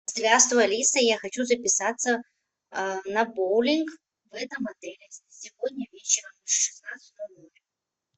здравствуй алиса я хочу записаться на боулинг в этом отеле сегодня вечером в шестнадцать ноль ноль